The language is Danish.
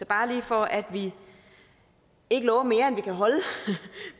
bare lige for at vi ikke lover mere end vi kan holde